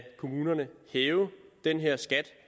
kommunerne hæve den her skat